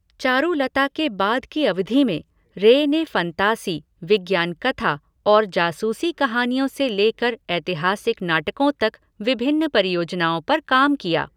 चारुलता के बाद की अवधि में, रे ने फंतासी, विज्ञान कथा और जासूसी कहानियों से लेकर ऐतिहासिक नाटकों तक विभिन्न परियोजनाओं पर काम किया।